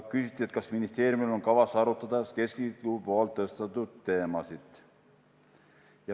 Küsiti, kas ministeeriumil on kavas arutada keskliidu tõstatatud teemasid.